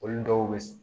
Olu dɔw be